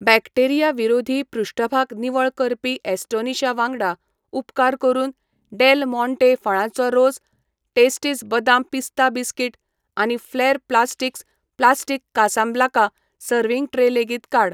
Bacteria विरोधी पृष्ठभाग निवळ करपी ॲस्टोनिशा वांगडा, उपकार करून डेल माँटे फळांचो रोस, टेस्टीज बदाम पिस्ता बिस्किट आनी फ्लॅर plastics plastic Casablanca serving tray लेगीत काड.